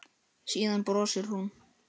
Síðan brosir hún.